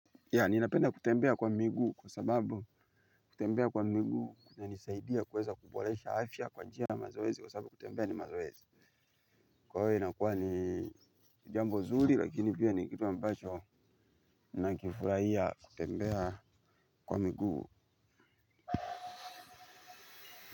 Yah ninapenda kutembea kwa miguu kwa sababu kutembea kwa miguu kunanisaidia kuweza kuboresha afya kwa njia mazoezi kwa sababu kutembea ni mazoezi. Kwa hio inakuwa ni jambo zuri lakini pia ni kitu ambacho nakifurahia kutembea kwa miguu.